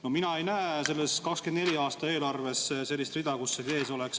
No mina ei näe selles 2024. aasta eelarves sellist rida, kus see sees oleks.